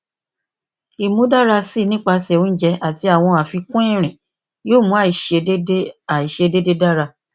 imudarasi nipasẹ ounjẹ ati awọn afikun irin yoo mu aiṣedede aiṣedede dara